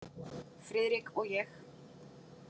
Friðrik og ég.